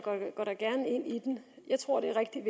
i den jeg tror det er rigtig